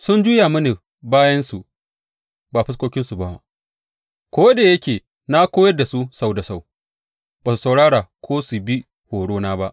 Sun juya mini bayansu ba fuskokinsu ba; ko da yake na koyar da su sau da sau, ba su saurara ko bi horo na ba.